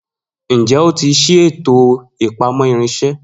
Njẹ o ti ṣii eto ipamọ irinṣẹ?